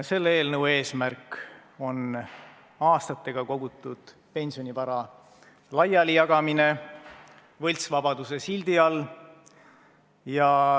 Selle eelnõu eesmärk on aastatega kogutud pensionivara laialijagamine võltsvabaduse sildi all.